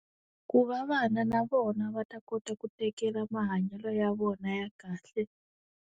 Ku va vana na vona va ta kota ku tekela mahanyelo ya vona ya kahle.